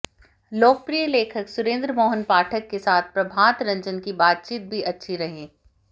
लोकप्रिय लेखक सुरेन्द्र मोहन पाठक के साथ प्रभात रंजन की बातचीत भी अच्छी रही